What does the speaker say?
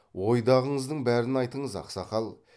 ойдағыңыздың бәрін айтыңыз ақсақал